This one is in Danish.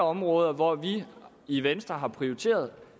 områder hvor vi i venstre har prioriteret